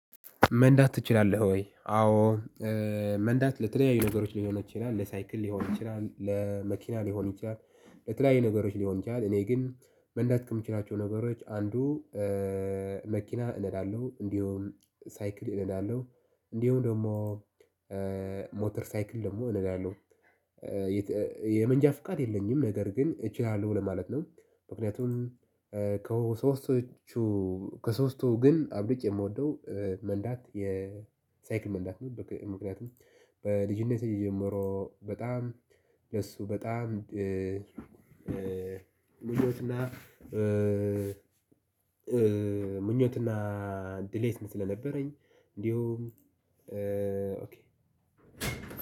መንዳት ትችላለህ ወይ? አዎ። መንዳት ለተለያዩ ነገሮች ሊሆን ይችላል ለሳይክል ሊሆን ይችላል ለመኪና ሊሆን ይችላል። ለተለያዩ ነገሮች ሊሆን ይችላል እኔ ግን መንዳት ከምችላቸው ነገሮች አንዱ። መኪና እነዳለሁ እንዱሁም ሳይክል እነዳለሁ። እነዲሁም ደሞ ሞተር ሳይክል ደሞ እነዳለሁ። የተ የመንጃ ፍቃድ የለኝም ነገር ግን እችላለሁ ለማለት ነው። ምክንያቱም ከሶስቶቹ ከሶስቱ ግን አብልጬ ምወደው መንዳት የሳይክል መንዳት ነው። ምክንያቱም በልጅነቴ ጀምሮ በጣም ለሱ በጣም ልጆችና ምኞትና ድሌት ስለነበረኝ እንዲሁም